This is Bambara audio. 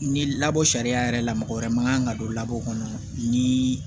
Ni labɔ sariya yɛrɛ la mɔgɔ wɛrɛ ma kan ka don labɔ ni